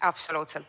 Absoluutselt!